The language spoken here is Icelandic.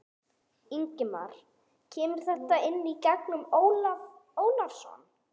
Ingimar: Kemur þetta inn í gegnum Ólaf Ólafsson?